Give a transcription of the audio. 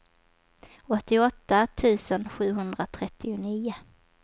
åttioåtta tusen sjuhundratrettionio